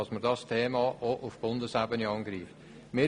Das Thema muss auch auf Bundesebene aufgegriffen werden.